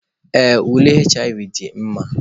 Ee, ule HIV dị mma.